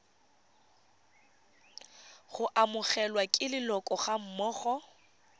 go amogelwa ke leloko gammogo